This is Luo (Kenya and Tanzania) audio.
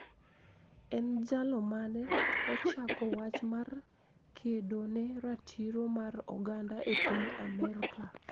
En jalo mane ochako wach mar kedo ne ratiro mar oganda e piny Amerka